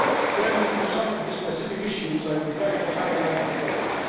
Turning to some of the specific issues, I would like to highlight the following.